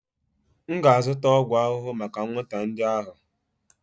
M ga-azụta ọgwụ ahụhụ maka anwụnta ndị ahụ.